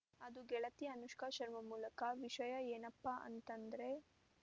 ಅದು ಗೆಳತಿ ಅನುಷ್ಕಾ ಶರ್ಮಾ ಮೂಲಕ ವಿಷಯ ಏನಪ್ಪಾ ಅಂತಂದ್ರೆ